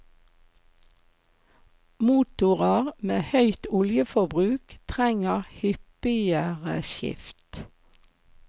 Motorer med høyt oljeforbruk trenger hyppigere skift.